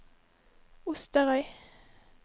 Osterøy